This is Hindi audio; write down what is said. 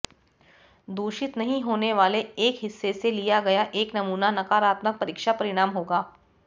दूषित नहीं होने वाले एक हिस्से से लिया गया एक नमूना नकारात्मक परीक्षा परिणाम होगा